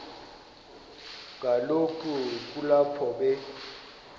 kaloku kulapho be